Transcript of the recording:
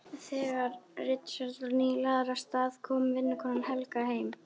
Þegar Richard var nýlagður af stað kom vinnukonan Helga heim.